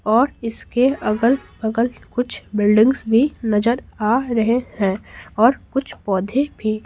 और इसके अगल बगल कुछ बिल्डिंग्स भी नजर आ रहे हैं और कुछ पौधे भी--